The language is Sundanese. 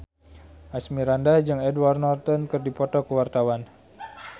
Asmirandah jeung Edward Norton keur dipoto ku wartawan